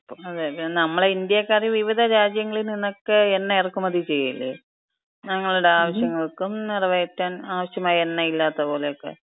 അതെ, അതെ, നമ്മള് ഇന്ത്യാക്കാര് വിവിധ രാജ്യങ്ങളിന്നന്നൊക്കെ എണ്ണ ഇറക്കുമതി ചെയ്യല്ലേ. ഞങ്ങളുടെ ആവശ്യങ്ങൾക്കും നിറവേറ്റാൻ ആവശ്യമായി എണ്ണ ഇല്ലാത്ത പോലെക്ക,